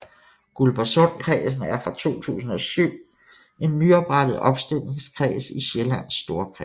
Guldborgsundkredsen er fra 2007 en nyoprettet opstillingskreds i Sjællands Storkreds